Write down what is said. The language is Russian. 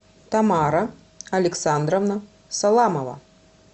тамара александровна саламова